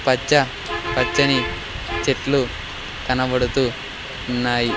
పచ్చ పచ్చని చెట్లు కనబడుతూ ఉన్నాయి.